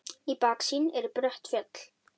Í baksýn eru brött fjöll.